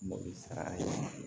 Mɔbili sara ye